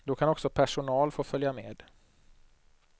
Då kan också personal få följa med.